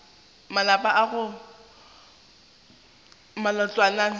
malapa go aga matlwana a